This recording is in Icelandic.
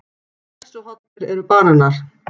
Hversu hollir eru bananar?